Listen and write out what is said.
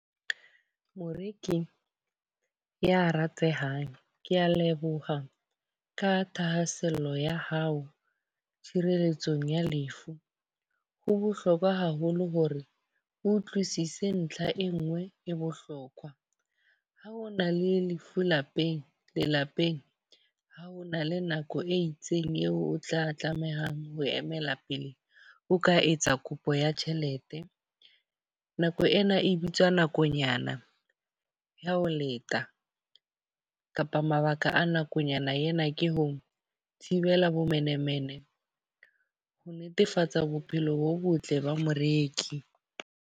Moreki ya ratehang, ke a leboha ka thahasello ya hao, tshireletsong ya lefu. Ho bohlokwa haholo hore o utlwisise ntlha e nngwe e bohlokwa. Ha o na le lefu lapeng lelapeng. Ha o na le nako e itseng eo o tla tlamehang ho emela pele, o ka etsa kopo ya tjhelete. Nako ena e bitswang nakonyana ya ho leta kapa mabaka a nakonyana ena ke ho thibela bomenemene, ho netefatsa bophelo bo botle ba moreki.